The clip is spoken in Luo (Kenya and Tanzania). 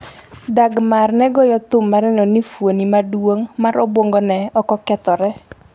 Dagmar ne goyo thum mar neno ni fuoni maduong' mar obwongone okokethore .